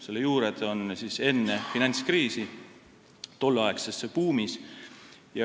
Selle juured on ajas enne finantskriisi, tolleaegses buumis.